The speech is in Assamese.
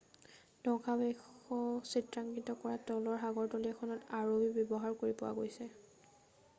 ধ্বংসাৱশেষ চিত্ৰাঙ্কিত কৰা তলৰ সাগৰতলীখন এখন rov ব্যৱহাৰ কৰি পোৱা গৈছিল